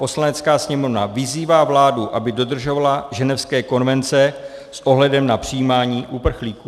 "Poslanecká sněmovna vyzývá vládu, aby dodržovala ženevské konvence s ohledem na přijímání uprchlíků."